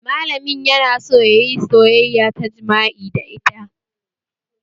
Malamin yana so yayi soyayya ta jima'i da ita